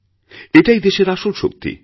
এটাই দেশের আসল শক্তি